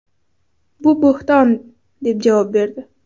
Bu bo‘hton” deb javob berdi.